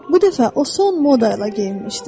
Bu dəfə o son moda ilə geyinmişdi.